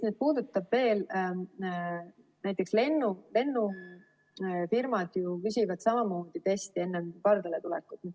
Näiteks lennufirmad küsivad samamoodi teste enne pardale minekut.